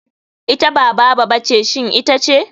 Ita ba baba ba ce shin ita ce?